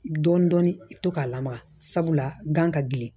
Dɔɔnin dɔɔnin i bɛ to k'a lamaga sabula gan ka gili